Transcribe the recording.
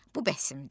Bu bəsimdir.